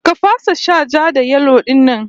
Ka fasa shan ja-da-yelo din ne?